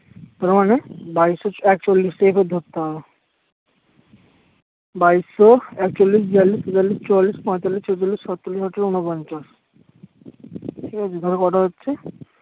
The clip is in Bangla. তোমার মানে বাইশশ একচল্লিশ থেকে ধরতে হবে বাইশশএকচল্লিশ বিয়াল্লিশ তেতাল্লিশ চুয়াল্লিশ পাঁতাল্লিশ ছেচল্লিশ সাতচল্লিশ আটচল্লিশ ঊনপঞ্চাশ ঠিক আছে তাহলে কত হচ্ছে